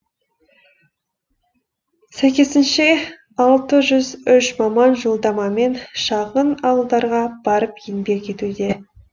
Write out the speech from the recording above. сәйкесінше алты жүз үш маман жолдамамен шағын ауылдарға барып еңбек етуде